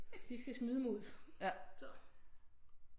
De skal smide mig ud så